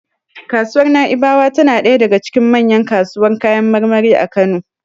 Kasuwar Na'ibawa tana ɗaya daga cikin manyan kasuwar kayan marmari a Kano.